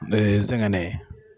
ɛ nsɛgɛnɛ